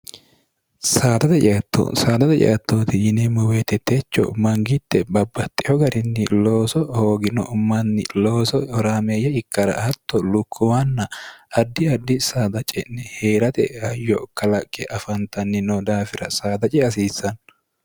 saadaxe caatto saadada caattooti yineemmo weetetecho mangitte babbatxiho garinni looso hoogino manni looso oraameeyya ikkara hatto lukkumanna addi addi saada ce'ne hee'rate hayo kalaqqe afantanni no daafira saada ce hasiissanno